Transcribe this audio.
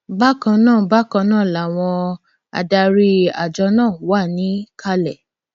bákan náà bákan náà làwọn adarí àjọ náà wà níkàlẹ